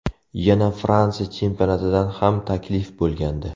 Yana Fransiya chempionatidan ham taklif bo‘lgandi.